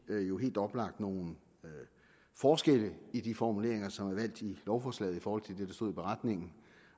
helt oplagt nogle forskelle i de formuleringer som er valgt i lovforslaget i forhold til det der stod i beretningen